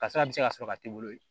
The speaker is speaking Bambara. Kasara bɛ se ka sɔrɔ ka t'i bolo